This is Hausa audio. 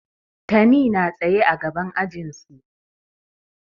Tani na tsaye a gaban ajin su.